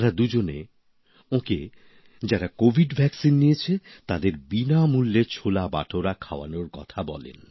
তারা দুজনে ওঁকে বলেন যারা কোভিড টিকা নিয়েছে তাদের বিনামূল্যে ছোলা বাটোরা খাওয়াতে